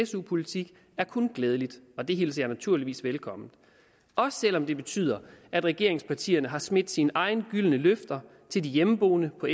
su politik er kun glædeligt og det hilser jeg naturligvis velkommen også selv om det betyder at regeringspartierne har smidt sine egne gyldne løfter til de hjemmeboende på